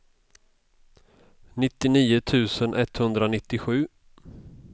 nittionio tusen etthundranittiosju